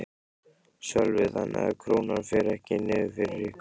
Sölvi: Þannig að Krónan fer ekki niður fyrir ykkur?